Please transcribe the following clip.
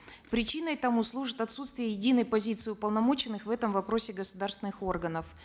причиной тому служит отсутствие единой позиции уполномоченных в этом вопросе государственных органов